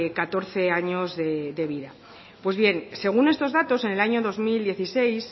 catorce años de vida según estos datos en el año dos mil dieciséis